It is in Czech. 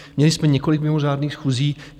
Měli jsme několik mimořádných schůzí.